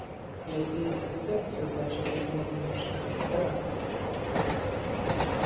если есть сестерции значит их можно на что-то потратить